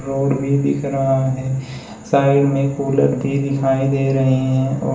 road भी दिख रहा है साइड में कूलर भी दिखाई दे रहे हैं और--